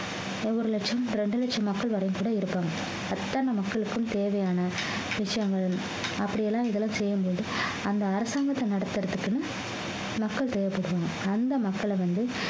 ஒரு லட்சம் இரண்டு லட்சம் மக்கள் வரைக்கும் கூட இருப்பாங்க அத்தனை மக்களுக்கும் தேவையான விஷயங்கள் அப்படியெல்லாம் இதெல்லாம் செய்யும்போது அந்த அரசாங்கத்தை நடத்துறதுக்குன்னு மக்கள் தேவைப்படுவாங்க அந்த மக்களை வந்து